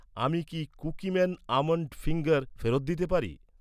আমি কি Cookieman almond finger ফেরত দিতে পারি?